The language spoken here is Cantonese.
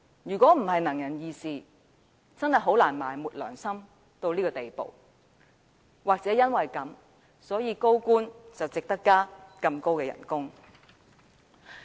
如果不是"能人異士"，真的很難埋沒良心到這個地步；或許就是因為這樣，高官才值得大幅加薪。